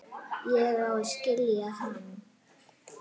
Ég á að skilja hana.